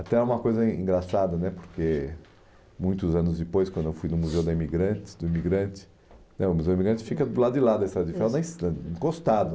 Até uma coisa engraçada né porque muitos anos depois, quando eu fui no Museu da Imigrante, do imigrante o Museu do Imigrante fica do lado de lá da Estrada de Ferro, na estra encostado.